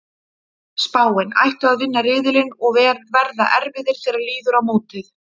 Spáin: Ættu að vinna riðilinn og verða erfiðir þegar líður á mótið.